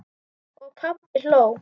Og pabbi hló.